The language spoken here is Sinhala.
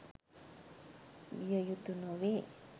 විය යුතු නොවේ.